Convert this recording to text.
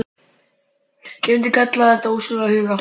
Ég myndi kalla þetta hinn ósjálfráða huga.